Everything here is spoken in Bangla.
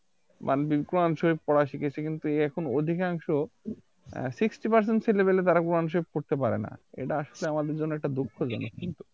বা বিভ কোরান শরীফ পড়া শিখেছি কিন্তু এখন অধিকাংশ Sixty Percent ছেলে পেলে তারা কোরান শরীফ পড়তে পারে না এটা আসলে আমাদের জন্য একটা দুঃখজনক কিন্তু